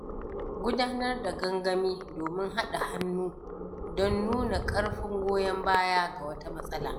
Gudanar da gangami domin haɗa hannu don nuna ƙarfin goyon baya ga wata matsala.